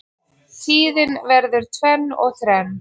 Tíðin verður tvenn og þrenn.